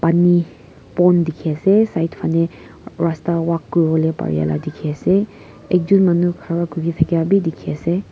Pani pond dekhe ase side phane rasta walk kurivole parya la dekhe ase ekjun manu khara kura kuri thakya bhi dekhe ase.